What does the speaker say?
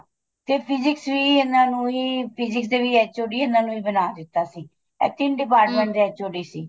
ਤੇ physics ਵੀ ਇਹਨਾ ਨੂੰ ਹੀ physics ਦੇ ਵੀ HOD ਇਹਨਾ ਨੂੰ ਹੀ ਬਣਾ ਦਿੱਤਾ ਸੀ ਇਹ ਤਿੰਨ department ਦੇ HOD ਸੀ